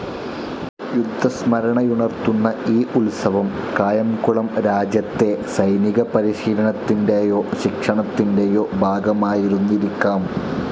യുദ്ധസ്മരണയുണർത്തുന്ന ഈ ഉത്സവം കായംകുളം രാജ്യത്തെ സൈനികപരിശീലനത്തിൻ്റെയോ ശിക്ഷണത്തിൻ്റെയോ ഭാഗമായിരുന്നിരിക്കാം.